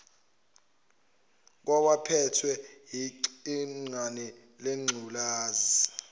kwabaphethwe yigciwane lengculazi